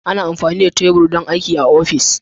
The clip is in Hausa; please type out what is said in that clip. Ana amfani da tebur don aiki a ofis.